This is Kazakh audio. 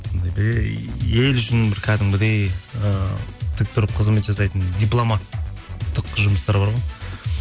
ел үшін бір кәдімгідей і тік тұрып қызмет жасайтын дипломаттық жұмыстар бар ғой